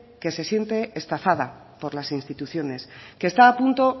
que se siente estafada por las instituciones que está a punto